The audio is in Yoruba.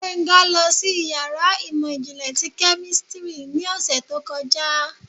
Gbenga losí iyàrá imọ-jinlẹ ti kẹ́místrì ni òsé tó kọjá